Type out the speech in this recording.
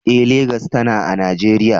Eh, Legas tana a Najeriya.